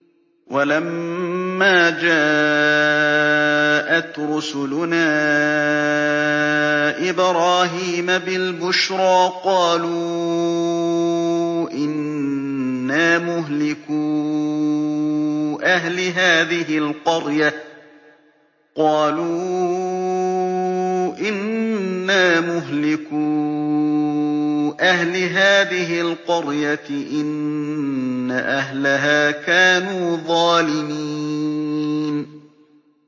وَلَمَّا جَاءَتْ رُسُلُنَا إِبْرَاهِيمَ بِالْبُشْرَىٰ قَالُوا إِنَّا مُهْلِكُو أَهْلِ هَٰذِهِ الْقَرْيَةِ ۖ إِنَّ أَهْلَهَا كَانُوا ظَالِمِينَ